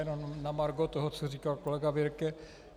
Jenom na margo toho, co říkal kolega Birke.